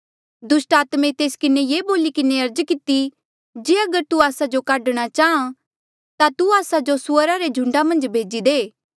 दुस्टात्मे तेस किन्हें ये बोली किन्हें अर्ज किती जे अगर तू आस्सा जो काढ़णा चाहां ता तू आस्सा जो सुअरा रे झूंडा मन्झ भेजी दे